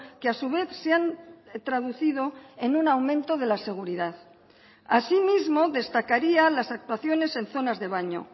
que a su vez se han traducido en un aumento de la seguridad asimismo destacaría las actuaciones en zonas de baño